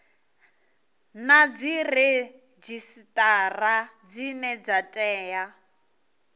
na dziredzhisitara dzine dza tea